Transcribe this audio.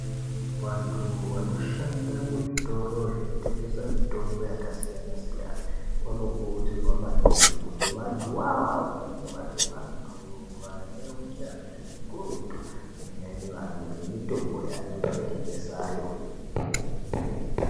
Vantu vanoshanda muzvitoro zvinotengeswa mitombo yakasiyana siyana vanokurudzirwa maningi kuti vantu voivavi vange vari vantu vane unyanzvi ukurutu maererano nemitombo yanonga eitengesayo.